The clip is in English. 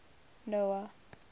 noah